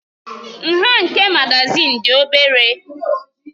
Nha nke magazin dị obere.